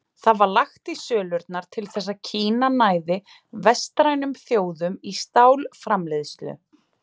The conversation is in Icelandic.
Allt var lagt í sölurnar til þess að Kína næði vestrænum þjóðum í stálframleiðslu.